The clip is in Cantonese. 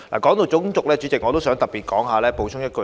代理主席，談到種族，我想特別補充一點。